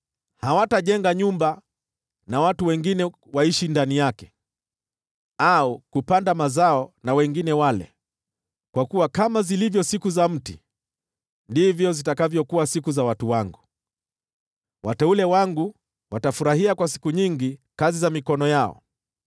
Hawatajenga nyumba, nao watu wengine waishi ndani yake, au kupanda mazao na wengine wale. Kwa kuwa kama zilivyo siku za mti, ndivyo zitakavyokuwa siku za watu wangu, wateule wangu watafurahia kwa siku nyingi kazi za mikono yao.